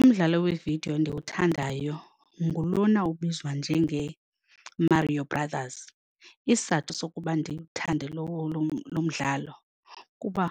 Umdlalo weevidiyo ndiwuthandayo ngulona ubizwa njengeMario Brothers. Isizathu sokuba ndiwuthande lo mdlalo kuba